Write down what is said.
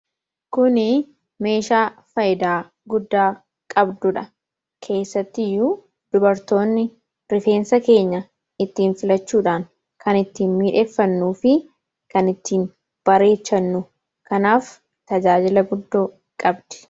Kuni meeshaa faayidaa guddaa qabdudha. Kessatti iyyuu dubartoonni rifeensa keenya ittiin filachuudhaan kan ittiin miidheegfannuu fi kan ittiin bareechannu; kanaaf tajaajila guddoo qabdi.